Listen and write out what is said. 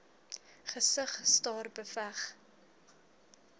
gesig staar beveg